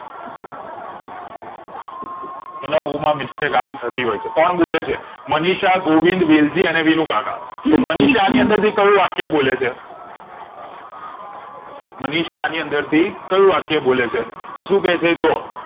બધા બૌમ આવી mistake અવીથી હોય છે કોણ બોલે છે મનીષા ગોવિંદ વિલઝી અને વિનુકાકા તો મનીષા એની અંદર થી કયું વાક્ય બોલે છે મનીષા એની અંદર થી કયું વાક્ય બોલે છે તો શું કે છે જોવો